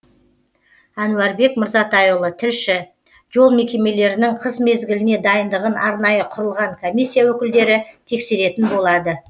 әнуарбек мырзатайұлы тілші жол мекемемелірінің қыс мезгіліне дайындығын арнайы құрылған комиссия өкілдері тексеретін болады